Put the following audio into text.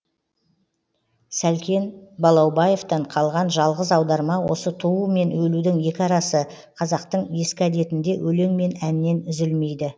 сәлкен балаубаевтан қалған жалғыз аударма осы туу мен өлудің екі арасы қазақтың ескі әдетінде өлең мен әннен үзілмейді